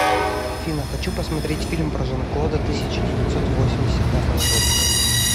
афина хочу посмотреть фильм про жан клода тысяча девятьсот восемьдесят пятого года